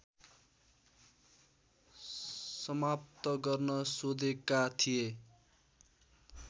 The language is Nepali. समाप्त गर्न सोधेका थिए